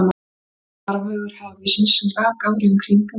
Hér var farvegur hafíssins, sem rak árið um kring einkum frá